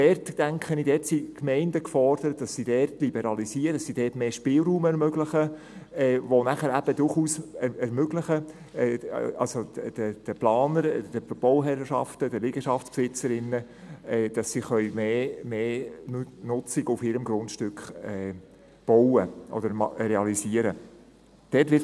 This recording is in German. Dort, denke ich, sind die Gemeinden gefordert, zu liberalisieren, mehr Spielraum zu ermöglichen, welcher den Planern, den Bauherrschaften und den Liegenschaftsbesitzerinnen durchaus ermöglicht, dass sie mehr Nutzung auf ihrem Grundstück realisieren können.